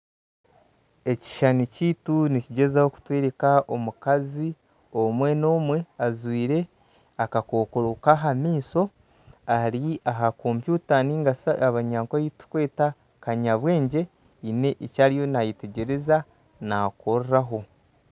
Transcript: Ekishushani kyaitu nikigyezaho kutworeka omukazi, omwe nomwe ajwaire akakokoro kaha maisho ,Ari aha computer ningashi abanyankole eyiturikweta kanyabwengye haine eki ariyo nayetegyereza nakoreraho.